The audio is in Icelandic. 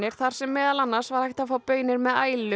þar sem meðal annars var hægt að fá baunir með